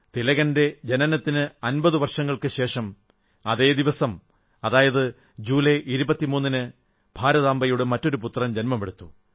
തിലകന്റെ ജനനത്തിന് 50 വർഷങ്ങൾക്കുശേഷം അതേ ദിവസം അതായത് ജൂലൈ 23 ന് ഭാരതാംബയുടെ മറ്റൊരു പുത്രൻ ജന്മമെടുത്തു